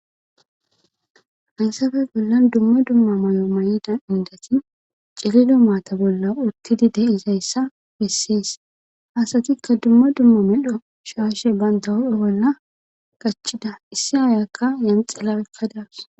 Haysafe bollan dumma dumma may'o may'ida indati cirido maata bolla uttidi de izayssa bessees hasatikka dumma dumma medho shaashe banda hophe bolla gachida issi ayakka yanxellawekkadawus.